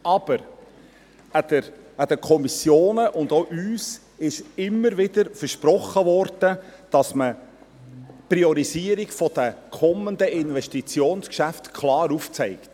Aber: Den Kommissionen und auch uns wurde immer wieder versprochen, dass man die Priorisierung der kommenden Investitionsgeschäfte klar aufzeigt.